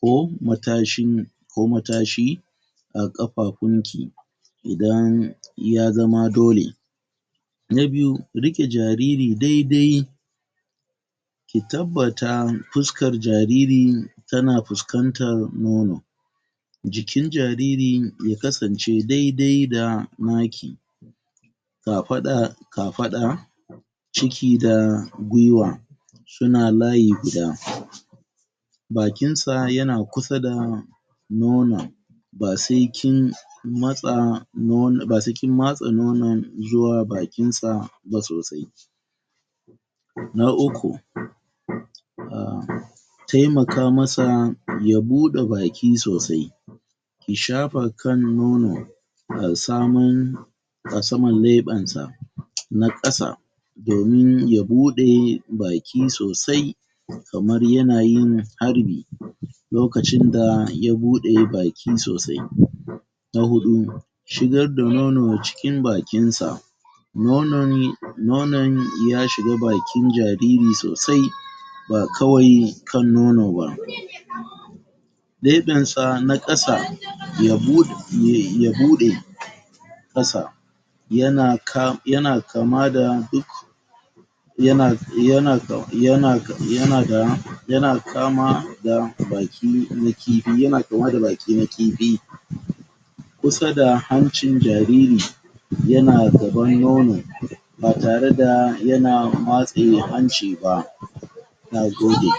ko matashin,? ko matashi,? a ƙafafun ki,? idan ya zama dole.? Na biyu, riƙe jariri dai-dai? ki tabbata fuskar jariri, ta na fuskantar nono,? jikin jaririn ya kasance dai-dai da na ki,? kafaɗa kafaɗa,? ciki da guiwa,? su na layi guda,? bakin sa ya na kusa da,? nono,? ba sai kin matsa,? matsa, nono, ba sai kin matsa nono, zuwa bakin sa ba sosai.? Na uku,? taimaka ma sa ya buɗe baki sosai,? ki shafa kan nono,? a saman,? a saman leɓen sa na ƙasa,? domin ya bude baki sosai,? kamar ya na yin harbi, lokacin da ya buɗe baki sosai.? Na huɗu,? shigar da nono cikin bakin sa,? nonan, nonan ya shiga bakin jariri sosai,? ba kawai kan nono ba,? leben sa na kasa ya buɗe, ya buɗe,? kasa,? ya na kam, ya na kama da,? ya na, ya na kama, ya na ka, ya na da, ya na kama da baki na kifi, ya na kama da baki na kifi,? kusa da hancin jariri,? ya na gaban nono,? batare da ya na matse hanci ba.? Na gode.?